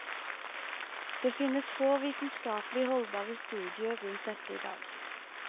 Det finnes få vitenskapelig holdbare studier rundt dette i dag.